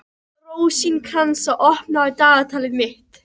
Rósinkransa, opnaðu dagatalið mitt.